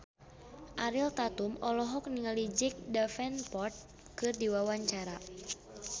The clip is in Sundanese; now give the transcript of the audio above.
Ariel Tatum olohok ningali Jack Davenport keur diwawancara